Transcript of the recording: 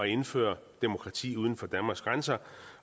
indføre demokrati uden for danmarks grænser